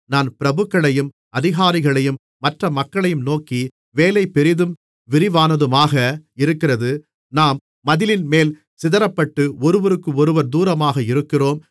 நான் பிரபுக்களையும் அதிகாரிகளையும் மற்ற மக்களையும் நோக்கி வேலை பெரிதும் விரிவானதுமாக இருக்கிறது நாம் மதிலின்மேல் சிதறப்பட்டு ஒருவருக்கு ஒருவர் தூரமாக இருக்கிறோம்